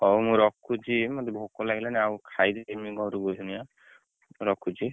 ହଉ ମୁଁ ରଖୁଛି ମତେ ଭୋକ ଲାଗିଲାଣି ଆଉ ଖାଇକି ଜିମି ଘରକୁ ଏଇଖିନା ମୁଁ ରଖୁଛି?